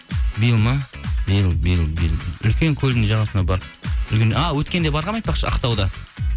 биыл ма биыл биыл биыл үлкен көлдің жағасына барып а өткенде барғанмын айтпақшы ақтауда